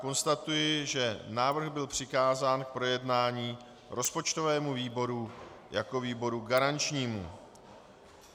Konstatuji, že návrh byl přikázán k projednání rozpočtovému výboru jako výboru garančnímu.